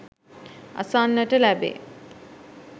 අසන්නට ලැබේ